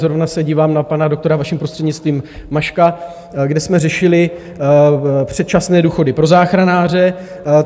zrovna se dívám na pana doktora, vaším prostřednictvím, Maška, kde jsme řešili předčasné důchody pro záchranáře.